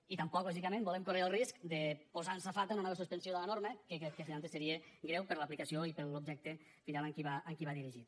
i tampoc lògicament volem córrer el risc de posar en safata una nova suspensió de la norma que crec que aleshores seria greu per l’aplicació i per l’objecte final a què va dirigit